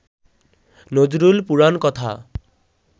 Nazrul পুরাণকথা